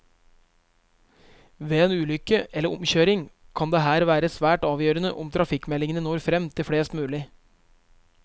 Ved en ulykke eller omkjøring kan det her være svært avgjørende om trafikkmeldingene når frem til flest mulig.